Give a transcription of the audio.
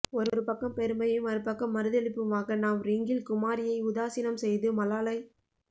ஒரு பக்கம் பெருமையும் மறுபக்கம் மறுதலிப்புமாக நாம் ரிங்கிள் குமாரியை உதாசீனம் செய்து மலாலய்